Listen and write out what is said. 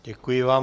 Děkuji vám.